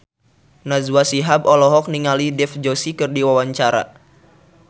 Najwa Shihab olohok ningali Dev Joshi keur diwawancara